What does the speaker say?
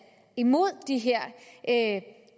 imod de her